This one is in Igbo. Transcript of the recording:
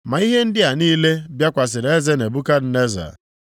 Ma ihe ndị a niile bịakwasịrị eze Nebukadneza.